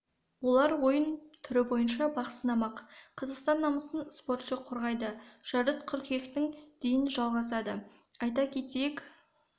олар ойын түрі бойынша бақ сынамақ қазақстан намысын спортшы қорғайды жарыс қыркүйектің дейін жалғасады айта кетейік